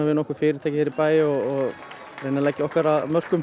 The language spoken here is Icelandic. nokkur fyrirtæki hér í bæ og leggja okkar af mörkum